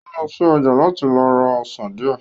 Ó lọ sí ọjà láti lọ ra ọsàn díẹ̀